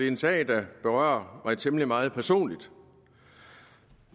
en sag der berører mig temmelig meget personligt